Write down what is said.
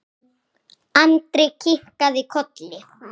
Andri kinkaði kolli.